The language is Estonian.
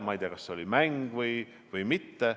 Ma ei tea, kas see oli mäng või mitte.